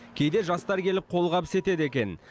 кейде жастар келіп қолғабыс етеді екен